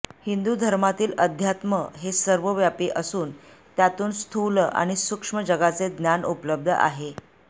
हिंदु धर्मातील अध्यात्म हे सर्वव्यापी असून त्यातून स्थूल आणि सूक्ष्म जगाचे ज्ञान उपलब्ध आहे